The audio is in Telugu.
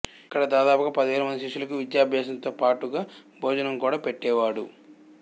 ఇక్కడ దాదాపు పదివేల మంది శిష్యులకి విద్యాభ్యాసంతో పాటుగా భోజనం కూడా పెట్టేవాడు